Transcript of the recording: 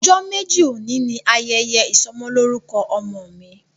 Ojo meji oni ni yẹyẹ isọmọlorukọ ọmọ mi.